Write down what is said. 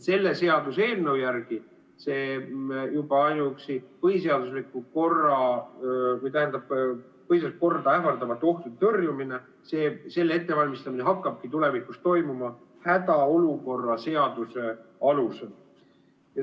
Selle seaduseelnõu järgi juba ainuüksi põhiseaduslikku korda ähvardava ohu tõrjumine, selle ettevalmistamine hakkabki tulevikus toimuma hädaolukorra seaduse alusel.